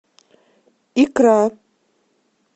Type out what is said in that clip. икра